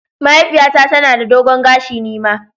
Mahaifiyata tana da dogon gashi, ni ma.